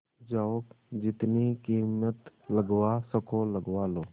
जाओ जितनी कीमत लगवा सको लगवा लो